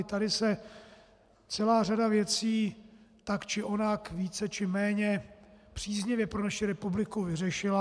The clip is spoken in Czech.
I tady se celá řada věcí tak či onak více či méně příznivě pro naši republiku vyřešila.